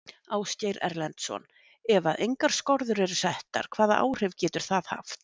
Ásgeir Erlendsson: Ef að engar skorður eru settar hvaða áhrif getur það haft?